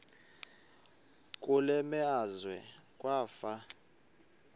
kule meazwe kwafa